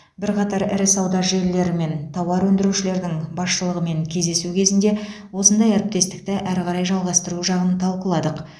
бірқатар ірі сауда желілері мен тауар өндірушілердің басшылығымен кездесу кезінде осындай әріптестікті әрі қарай жалғастыру жағын талқыладық